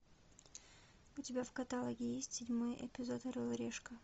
у тебя в каталоге есть седьмой эпизод орел и решка